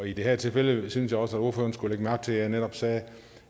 i det her tilfælde synes jeg også at ordføreren skulle lægge mærke til at jeg netop sagde